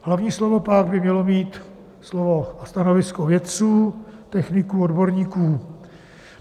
Hlavní slovo pak by mělo mít slovo a stanovisko vědců, techniků, odborníků.